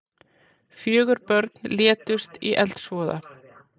Fjögur börn létust í eldsvoða